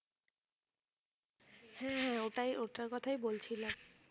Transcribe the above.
হ্যাঁ হ্যাঁ ওটাই ওইটার কথাই বলছিলাম